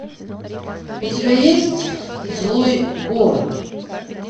у тебя есть злой город